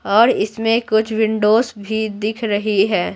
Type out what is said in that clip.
और इसमें कुछ विंडोस भी दिख रही है।